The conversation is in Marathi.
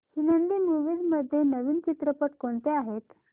हिंदी मूवीझ मध्ये नवीन चित्रपट कोणते आहेत